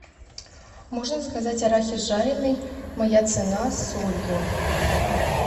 можно заказать арахис жареный моя цена с солью